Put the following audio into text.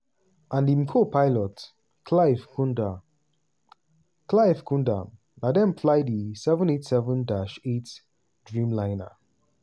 and im co-pilot clive kundar clive kundar na dem fly di 787-8 dreamliner.